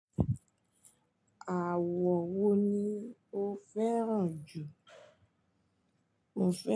Àwọ wo ni o fẹ́ràn jù?